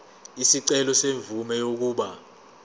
isicelo semvume yokuba